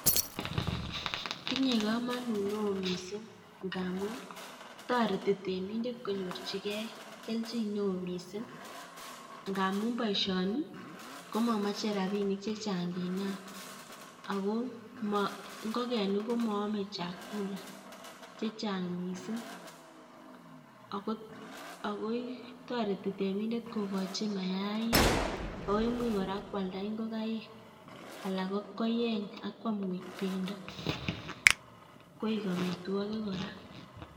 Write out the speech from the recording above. Tinye komonut neoo miising' ngaamun toreti temindet konyorchigei kelchin neoo miising' ngaamun boisioni komamache rabinik chechang' nginam ako ngokenink komaame chakula chechang' miising' akoi toreti temindet kogochi mayainik, akoimuch kora kwalda ngokaik , alak koeny akwam koek bendo koek amitwogik kora